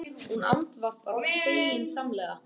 Hún andvarpar feginsamlega.